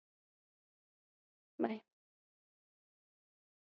Bye